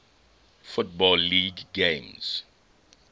football league games